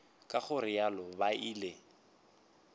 ka go realo ba ile